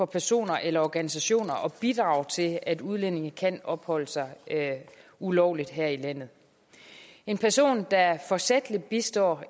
personer eller organisationer bidrager til at udlændinge kan opholde sig ulovligt her i landet en person der forsætligt bistår